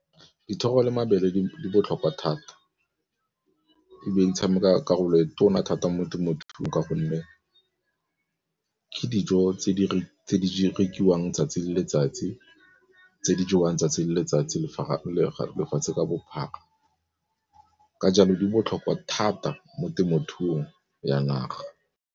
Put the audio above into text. Dithoro le mabele di botlhokwa thata e be di tshameka karolo e tona thata mo temothuong ka gonne ke dijo tse di rekiwang 'tsatsi le letsatsi, tse di jewang 'tsatsi le letsatsi lefatshe ka bophara ka jalo di botlhokwa thata mo temothuong ya naga.